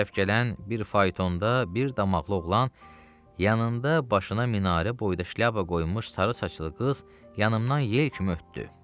Bizə tərəf gələn bir faytonda bir damaqlı oğlan yanında başına minarə boyda şlyapa qoyulmuş sarı saçlı qız yanımdan yel kimi ötdü.